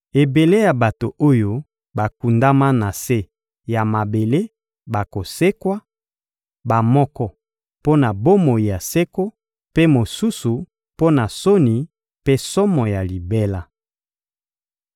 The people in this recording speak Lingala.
Ebele ya bato oyo bakundama na se ya mabele bakosekwa: bamoko mpo na bomoi ya seko, mpe mosusu mpo na soni mpe somo ya libela.